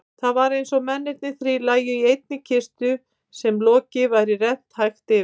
Það var einsog mennirnir þrír lægju í einni kistu sem loki væri rennt hægt yfir.